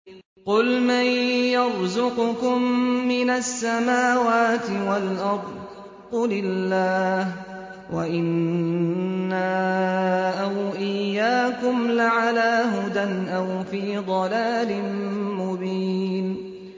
۞ قُلْ مَن يَرْزُقُكُم مِّنَ السَّمَاوَاتِ وَالْأَرْضِ ۖ قُلِ اللَّهُ ۖ وَإِنَّا أَوْ إِيَّاكُمْ لَعَلَىٰ هُدًى أَوْ فِي ضَلَالٍ مُّبِينٍ